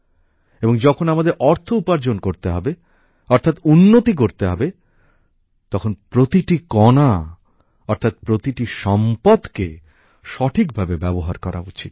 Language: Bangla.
এবং যখন আমাদের অর্থ উপার্জন করতে হবে অর্থাৎ উন্নতি করতে হবে তখন প্রতিটি কণা অর্থাৎ প্রতিটি সম্পদকে সঠিকভাবে ব্যবহার করা উচিত